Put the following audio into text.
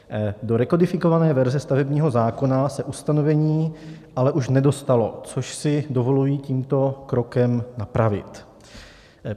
Do rekodifikované verze stavebního zákona se ustanovení ale už nedostalo, což si dovoluji tímto krokem napravit.